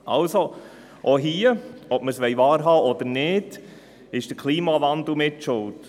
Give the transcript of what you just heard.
Auch hier ist der Klimawandel mitschuldig, ob wir es wahrhaben wollen oder nicht.